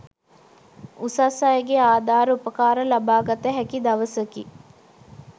උසස් අයගේ ආධාර උපකාර ලබාගත හැකි දවසකි.